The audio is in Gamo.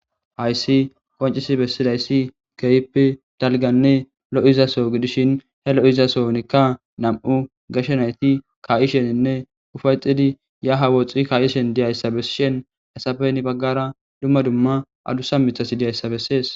Hayssi qoncisi bessidayssi geyppe dalganne lo,izaso gidishin he lo,izasonikka nam,u gashenayti ka,isheninne ufayxidi ya hawooxxi kayishen diyayssa bessishen esapeni baggara dumma dumma adusa mithasi diyayssa bessees.